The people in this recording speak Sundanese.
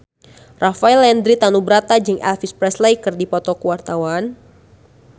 Rafael Landry Tanubrata jeung Elvis Presley keur dipoto ku wartawan